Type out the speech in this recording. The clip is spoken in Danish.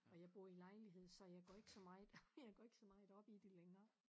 Og jeg bor i lejlighed så jeg går ikke så meget jeg går ikke så meget op i det længere